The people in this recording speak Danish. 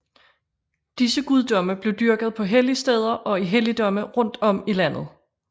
Disse guddomme blev dyrket på helligsteder og i helligdomme rundt om i landet